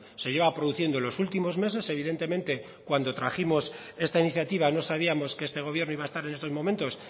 se lleva produciendo en los últimos meses evidentemente cuando trajimos esta iniciativa no sabíamos que este gobierno iba a estar en estos momentos